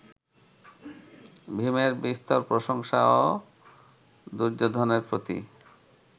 ভীমের বিস্তর প্রশংসা ও দুর্যোধনের প্রতি